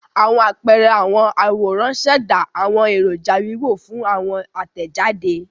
Awọn apẹẹrẹ awọn aworan ṣẹda awọn eroja wiwo fun awọn atẹjade.